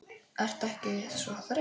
Ertu ekkert svo þreytt?